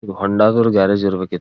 ಹೋಂಡಾ ದವರ ಗ್ಯಾರೇಜ್ ಇರ್ಬೇಕು.